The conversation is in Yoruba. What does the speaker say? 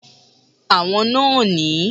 Àwọn náà ni